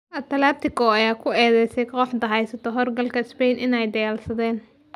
Atletico ayaa ku eedeysay kooxda heysata horyaalka Spain inay dhayalsadeen.